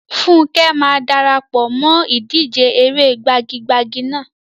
Funke máa dara pọ̀ mọ́ ìdíje eré gbagi-gbagi náà.